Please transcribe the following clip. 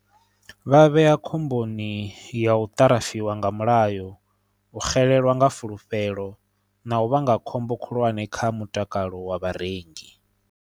Vha vhea khomboni ya u ṱarafiwa nga mulayo u xelelwa nga fulufhelo na u vhanga khombo khulwane kha mutakalo wa vharengi.